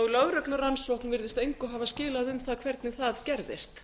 og lögreglurannsókn virðist engu hafa skilað um það hvernig það gerðist